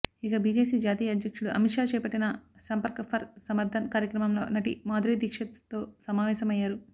ఇక బీజేపీ జాతీయాధ్యక్షుడు అమిత్ షా చేపట్టిన సంపర్క్ ఫర్ సమర్థన్ కార్యక్రమంలో నటి మాధురీ దీక్షిత్తో సమావేశం అయ్యారు